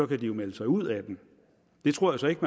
kan de jo melde sig ud af den det tror jeg så ikke